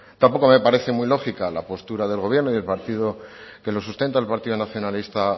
tampoco me parece muy lógica la postura del gobierno y el partido que lo sustenta el partido nacionalista